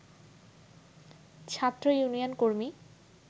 ছাত্র ইউনিয়ন কর্মী